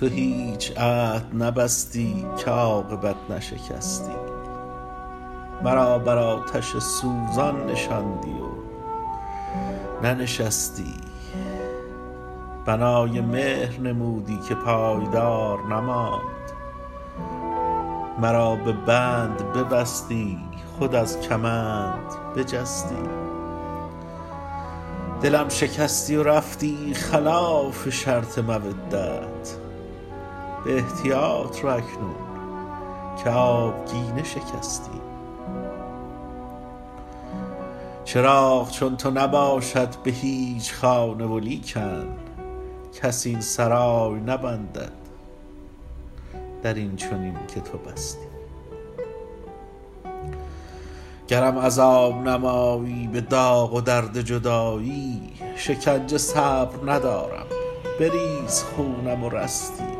تو هیچ عهد نبستی که عاقبت نشکستی مرا بر آتش سوزان نشاندی و ننشستی بنای مهر نمودی که پایدار نماند مرا به بند ببستی خود از کمند بجستی دلم شکستی و رفتی خلاف شرط مودت به احتیاط رو اکنون که آبگینه شکستی چراغ چون تو نباشد به هیچ خانه ولیکن کس این سرای نبندد در این چنین که تو بستی گرم عذاب نمایی به داغ و درد جدایی شکنجه صبر ندارم بریز خونم و رستی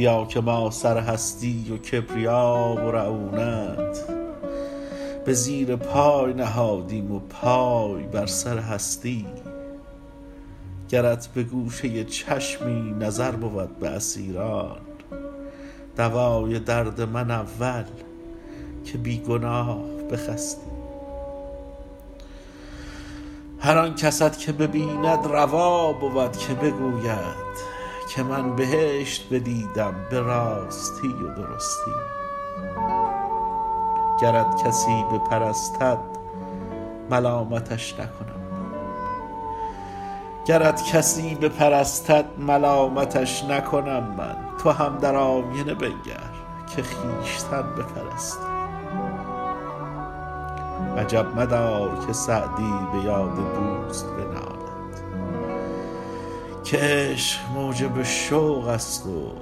بیا که ما سر هستی و کبریا و رعونت به زیر پای نهادیم و پای بر سر هستی گرت به گوشه چشمی نظر بود به اسیران دوای درد من اول که بی گناه بخستی هر آن کست که ببیند روا بود که بگوید که من بهشت بدیدم به راستی و درستی گرت کسی بپرستد ملامتش نکنم من تو هم در آینه بنگر که خویشتن بپرستی عجب مدار که سعدی به یاد دوست بنالد که عشق موجب شوق است و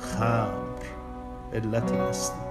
خمر علت مستی